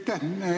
Aitäh!